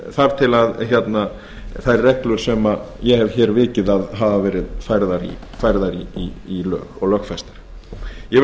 þar til þær reglur sem ég hef hér vikið að hafa verið færðar í lög og lögfestar ég vil að